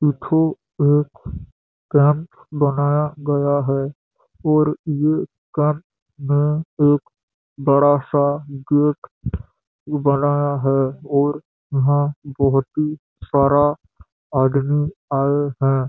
देखो एक कैंप बनाया गया हैंऔर ये कैंप में एक बड़ा सा गेट बनाया हैं और यहाँ बहोत ही सारा आदमी आये है।